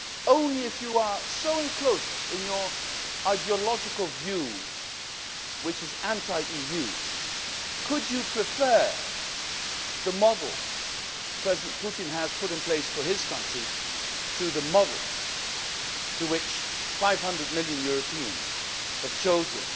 Only if you are so enclosed in your ideological view which is anti EU could you prefer the model that President Putin has put in place for his country to the model which 500 million Europeans have